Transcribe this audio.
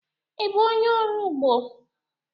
Ị bụ onye ọrụ ugbo?